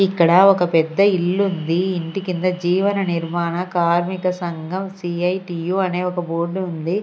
ఇక్కడ ఒక పెద్ద ఇల్లుంది ఇంటి కింద జీవన నిర్మాణ కార్మిక సంఘం సీ_ఐ_టీ_యు అనే ఒక బోర్డు ఉంది.